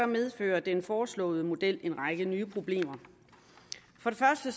medfører den foreslåede model en række nye problemer for det første